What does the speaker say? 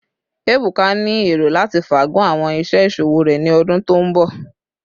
Ebuka ni ero lati faagun awọn iṣẹ iṣowo rẹ ni ọdun to nbọ